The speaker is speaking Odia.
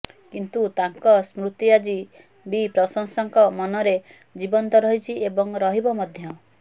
କିନ୍ତୁ ତାଙ୍କ ସ୍ମୃତି ଆଜି ବି ପ୍ରଶଂସକଙ୍କ ମନରେ ଜୀବନ୍ତ ରହିଛି ଏବଂ ରହିବ ମଧ୍ୟ